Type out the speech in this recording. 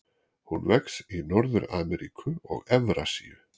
Hún vex í Norður-Ameríku og Evrasíu.